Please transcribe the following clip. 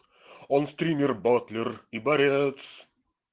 он в триммер батлер и борец